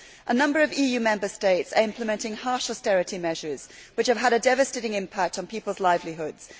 A number of EU Member States are implementing harsh austerity measures which have had a devastating impact on people's livelihoods.